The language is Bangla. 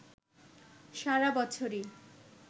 সারা বছরই